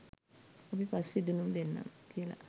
අපි පස්සේ දැනුම් දෙන්නම් කියලා